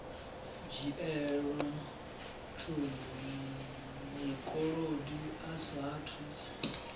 dzhielwa thundu mukolodi a saathu